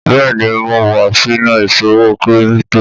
Bẹ́ẹ̀ni, Mo wa sinu iṣowo kiripito